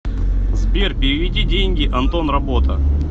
сбер переведи деньги антон работа